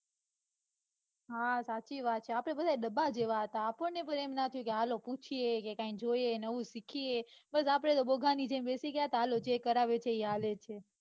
હા સાચી વાત છે આપડે બધા ડબા જેવા હતા આપણને પણ કોઈ ના કે હાલો પુછીયે કે કાંઈ જોઈએ નવું સિખિયે બસ આપડે તો બોગા ની જેમ બેસી ગયા તા કે હાલો જે કરાવે છે ઈ હાલે છે.